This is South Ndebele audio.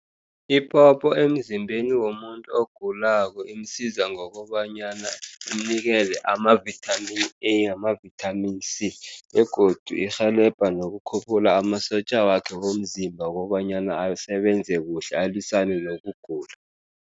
Iphopho emzimbeni womuntu ogulako imsiza ngokobanyana imnikele ama-vitamin A, ama-vitamin C, begodu irhelebha nokukhuphula amasotja wakhe womzimba, kobanyana asebenze kuhle, alwisane nokugula.